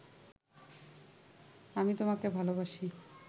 আমি তোমাকে ভাল বাসি